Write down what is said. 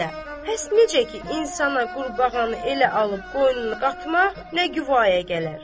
Bax elə, həs necə ki insana qurbağanı elə alıb qoynuna qatmaq nə quaya gələr.